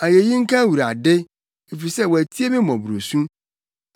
Ayeyi nka Awurade, efisɛ watie me mmɔborɔsu.